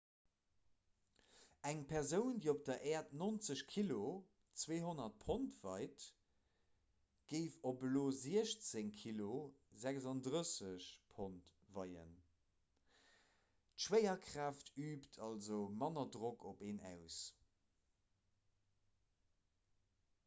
eng persoun déi op der äerd 90 kg 200 pond weit géif op io 16 kg 36 pond weien. d'schwéierkraaft üübt also manner drock op een aus